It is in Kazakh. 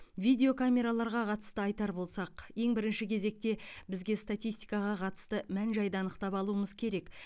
видео камераларға қатысты айтар болсақ ең бірінші кезекте бізге статистикаға қатысты мән жайды анықтап алуымыз керек